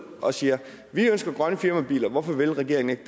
og siger at vi ønsker grønne firmabiler og at hvorfor vil regeringen ikke